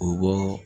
U bɔ